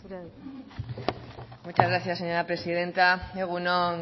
zurea da hitza muchas gracias señora presidenta egun on